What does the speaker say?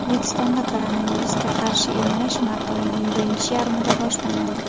O‘zbekistonda koronavirusga qarshi emlash mart oyining birinchi yarmida boshlanadi.